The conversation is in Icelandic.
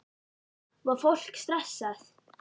Var fólk stressað?